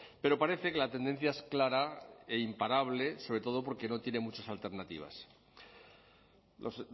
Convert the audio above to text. pero parece que la tendencia es clara e imparable sobre todo porque no tiene muchas alternativas los